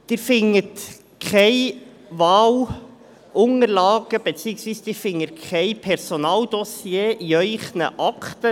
Sie finden keine Wahlunterlagen beziehungsweise kein Personaldossier in Ihren Akten.